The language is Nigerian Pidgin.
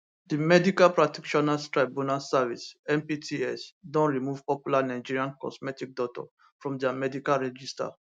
di medical practitioners tribunal service mpts don remove popular nigerian cosmetic doctor from dia medical register